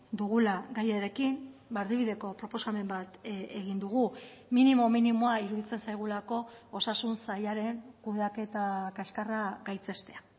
dugula gaiarekin erdibideko proposamen bat egin dugu minimo minimoa iruditzen zaigulako osasun sailaren kudeaketa kaskarra gaitzestea